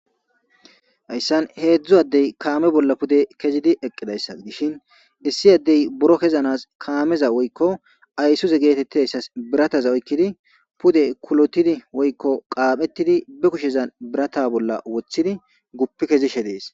hayssan heedzdzu addey kaame bolla pude kezidi eqqidayssa dishin dissi addey buro kezanas kaameza woykko aysuze geetettidayssas birataza oykkidi pude kulotidi woykko qaaphettidi be kushezan birata bolla wothidi guppi kezishe dees